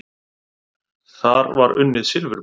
Þar var unnið silfurberg.